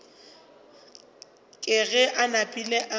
ke ge a napile a